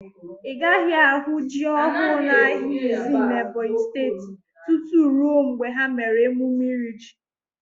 Ị gaghị ahụ ji ọhụụ n'ahịa Izii n'Ebonyi Steeti tutu rue mgbe ha mere emume iri ji.